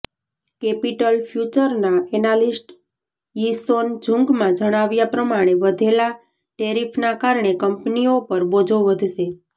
capital ફયુચરના analyst યીસોન જુંગના જણાવ્યા પ્રમાણે વધેલા ટેરિફના કારણે કંપનીઓ પર બોજો વધશે